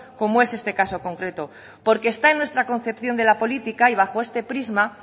como es este caso concreto porque está en nuestra concepción de la política y bajo este prisma